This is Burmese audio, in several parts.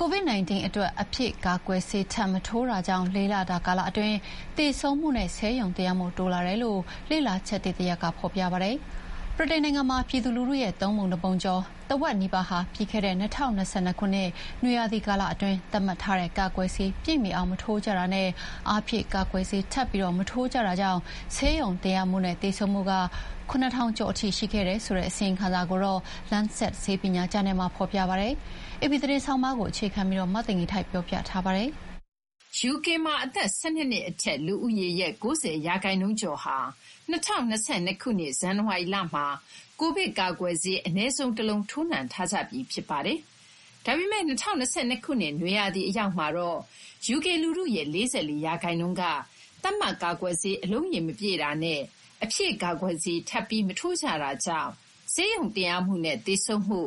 COVID-19 အတွက် အဖြည့် ကာကွယ်ဆေးထပ်မထိုးတာကြကြောင့် ၄ လတာ ကာလ အတွင်း သေဆုံးမှုနဲ့ ဆေးရုံတင်ရမှုတိုးလာစေတယ်လို့ လေ့လာချက်သစ်တရပ်က ဖော်ပြပါတယ်။ UK လူထုရဲ့ သုံးပုံတပုံကျော် ထက်ဝက်နီးပါးဟာ ပြီးခဲ့တဲ့ ၂၀၂၂ ခုနှစ် နွေရာသီအတွင်း သတ်မှတ်ထားတဲ့ ကာကွယ်ဆေးတွေ ပြည့်မီအောင်မထိုးကြတာနဲ့ အဖြည့်ကာကွယ်ဆေး ထပ်ပြီးမထိုးကြတာကြောင့် ဆေးရုံတင်ရမှုနဲ့ သေဆုံးမှု ၇,၀၀၀ ကျော်ထိ ရှိခဲ့တယ်ဆိုတဲ့ အစီရင်ခံစာကိုတော့ Lancet ဆေးပညာ ဂျာနယ်မှာ ဖော်ပြပါတယ်။ AP သတင်းဆောင်းပါးကို မသိင်္ဂီထိုက်က တင်ပြပေးထားပါတယ်။ UK မှာ အသက် ၁၂ နှစ်အထက် လူဦးရေရဲ့ ၉၀ ရာခိုင်နှုန်းကျော်ဟာ ၂၀၂၂ ခုနှစ် ဇန်နဝါရီလမှာ Covid ကာကွယ်ဆေး အနည်းဆုံးတလုံး ထိုးနှံထားကြပြီး ဖြစ်ပါတယ်။ ဒါပေမဲ့ ၂၀၂၂ ခုနှစ် နွေရာသီအရောက်မှာတော့ UK လူထုရဲ့ ၄၄ ရာခိုင်နှုန်းက သတ်မှတ် ကာကွယ်ဆေး အလုံးရေမပြည့်တာနဲ့ အဖြည့်ကာကွယ်ဆေး ထပ်ပြီးမထိုးကြတာကြောင့် ဆေးရုံတင်ရမှုနဲ့ သေဆုံးမှု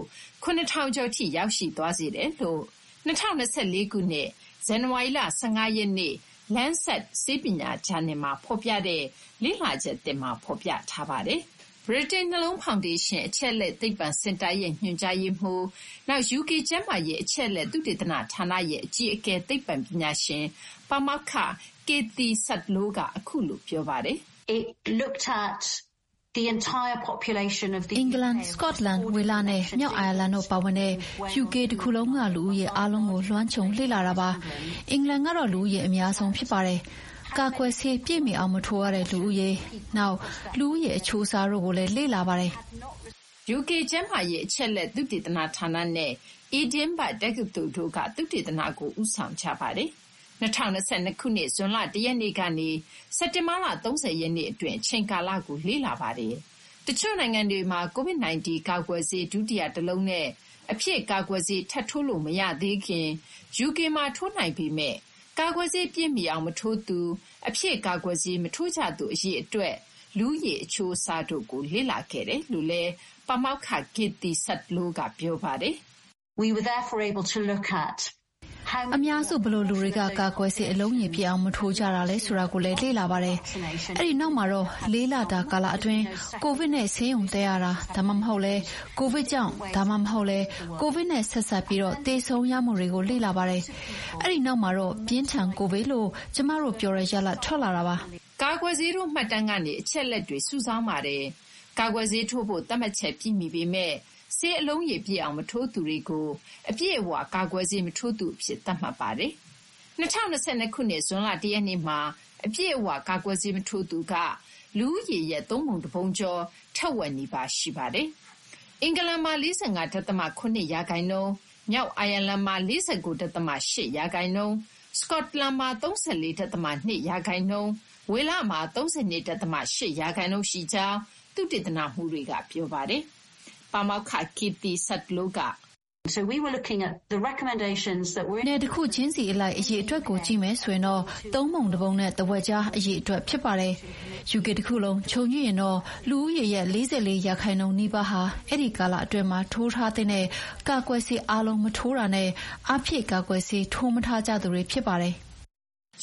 ၇,၀၀၀ ကျော်ထိ ရောက်သွားစေတယ်လို့ ၂၀၂၄ ခုနှစ် ဇန်နဝါရီလ ၁၅ ရက်နေ့ Lancet ဆေးပညာ ဂျာနယ်မှာ ဖော်ပြတဲ့ လေ့လာချက်သစ်မှာ ဖော်ပြထားပါတယ်။ ဗြိတိန် နှလုံးဖောင်ဒေးရှင်း အချက်အလက် သိပ္ပံစင်တာရဲ့ ညွှန်ကြားရေးမှူး၊ နောက် UK ကျန်းမာရေး အချက်အလက် သုတေသနဌာနရဲ့ အကြီးအကဲ သိပ္ပံပညာရှင် ပါမောက္ခ Cathie Sudlow က အခုလို ပြောပါတယ်။ “အင်္ဂလန်၊ စကော့တလန်၊ ဝေလနဲ့ မြောက် အိုင်ယာလန်တို့ပါဝင်တဲ့ UK တခုလုံးက လူဦးရေအားလုံးကို လွှမ်းခြုံလေ့လာတာပါ။ အင်္ဂလန်ကတော့ လူဦးရေအများဆုံး ဖြစ်ပါတယ်။ ကာကွယ်ဆေးပြည့်မီအောင် မထိုးတဲ့လူဦးရေ၊ နောက် လူဦးရေအချိုးစားတို့ကိုလည်း လေ့လာပါတယ်။” UK ကျန်းမာရေးအချက်အလက် သုတေသနဌာနနဲ့ Edinburg တက္ကသိုလ်တို့က သုတေသနကို ဦးဆောင်ခဲ့ကြတာပါ။ ၂၀၂၂ ခုနှစ် ဇွန်လ ၁ ရက်နေ့ကနေ စက်တင်ဘာလ ၃၀ ရက်နေ့အတွင်း အချိန်ကာလကို လေ့လာတာဖြစ်ပါတယ်။ တချို့ နိုင်ငံတွေမှာ Covid 19 ကာကွယ်ဆေး ဒုတိယတလုံးနဲ့ အဖြည့်ကာကွယ်ဆေး ထပ်ထိုးလို့မရသေးခင် UK မှာ ထိုးနိုင်ပေမဲ့ ကာကွယ်ဆေးပြည့်မီအောင် မထိုးသူ၊ အဖြည့်ကာကွယ်ဆေး မထိုးကြသူ အရေအတွက်၊ လူဦးရေအချိုးအစားတို့ကို လေ့လာခဲ့တယ်လို့လည်း ပါမောက္ခ Cathie Sudlow က ပြောပါတယ်။ “ အများစု ဘယ်လို လူတွေက ကာကွယ်ဆေး အလုံးရေပြည့်အောင် မထိုးကြတာလဲ ဆိုတာကိုလည်း လေ့လာပါတယ်။ အဲဒီနောက်မှာတော့ လေးလတာ ကာလအတွင်း Covid နဲ့ ဆေးရုံတက်ရတာ ဒါမှမဟုတ်လည်း Covid ကြောင့် ဒါမှမဟုတ်လည်း Covid နဲ့ ဆက်စပ်ပြီး သေဆုံးရမှုတွေကို လေ့လာပါတယ်။ အဲဒီနောက်မှာတော့ ပြင်းထန် Covid လို့ ကျမတို့ ပြောတဲ့ ရလဒ် ထွက်လာတာပါ။ ” ကာကွယ်ဆေးထိုး မှတ်တမ်းကနေ အချက်အလက်တွေ စုဆောင်းပါတယ်။ ကာကွယ်ဆေးထိုးဖို့ သတ်မှတ်ချက်ပြည့်မီပေမဲ့ ဆေးအလုံးရေ ပြည့်အောင်မထိုးသူတွေကို အပြည့်အဝ ကာကွယ်ဆေးမထိုးသူအဖြစ် သတ်မှတ်ပါတယ်။ ၂၀၂၂ ခုနှစ် ဇွန်လ တရက်နေ့မှာ အပြည့်အဝ ကာကွယ်ဆေးမထိုးသူက လူဦးရေရဲ့ သုံးပုံတပုံကျော် ထက်ဝက်နီးပါးရှိပါတယ်။ အင်္ဂလန်မှာ ၄၅.၇ ရာခိုင်နှုန်း၊ မြောက် အိုင်ယာလန်မှာ ၄၉.၈ ရာခိုင်နှုန်း၊ စကော့တလန်မှာ ၃၄.၂ ရာခိုင်နှုန်း၊ ဝေလမှာ ၃၂.၈ ရာခိုင်နှုန်း ရှိကြောင်း သုတေသနမှူးတွေက ပြောပါတယ်။ ပါမောက္ခ Cathie Sudlow က "နယ် တခုချင်းစီအလိုက် အရေအတွက်တွေကိုကြည့်မယ်ဆိုရင် သုံးပုံတပုံနဲ့ထက်ဝက်ကြား အရေအတွက်ဖြစ်ပါတယ်။ UK တခုလုံး ခြုံကြည့်ရင်တော့ လူဦးရေရဲ့ ၄၄ ရာခိုင်နှုန်းနီးပါးဟာ အဲဒီ ကာလအတွင်းမှာထိုးထားသင့်တဲ့ ကာကွယ်ဆေး အားလုံးမထိုးတာနဲ့ အဖြည့် ကာကွယ်ဆေးထိုး မထားကြသူတွေဖြစ်ပါတယ်။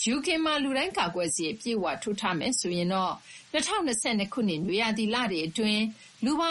" UK မှာ လူတိုင်း ကာကွယ်ဆေး အပြည့်အဝထိုးထားမယ်ဆိုရင်တော့ ၂၀၂၂ ခုနှစ် နွေရာသီလတွေအတွင်း လူပေါင်